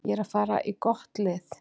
Ég er að fara í gott lið.